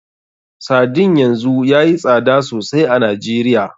Sardine yanzu yayi tsada sosai a Najeriya.